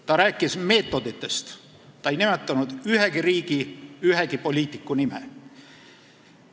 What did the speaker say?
Ta rääkis meetoditest, ta ei nimetanud ühegi riigi ühegi poliitiku nime.